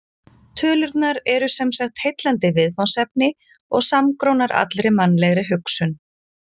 Tölurnar eru sem sagt heillandi viðfangsefni og samgrónar allri mannlegri hugsun.